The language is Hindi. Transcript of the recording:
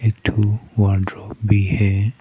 एक ठो वार्डरोब भी है।